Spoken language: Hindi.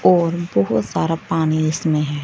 और बहुत सारा पानी इसमें है।